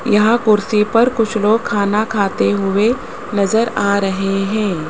यहां कुर्सी पर कुछ लोग खाना खाते हुए नजर आ रहे हैं।